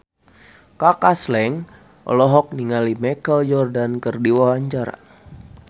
Kaka Slank olohok ningali Michael Jordan keur diwawancara